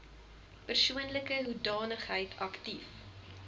persoonlike hoedanigheid aktief